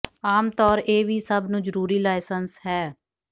ਆਮ ਤੌਰ ਇਹ ਵੀ ਸਭ ਨੂੰ ਜ਼ਰੂਰੀ ਲਾਇਸੰਸ ਹੈ